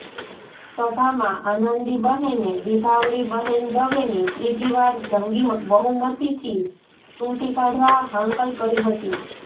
સભામાં આનંદીબહેને વિભાવરીબહેન દવેને ત્રીજીવાર જંગી બહુમતીથી ચૂંટી કાઢવા હાંકલ કરી હતી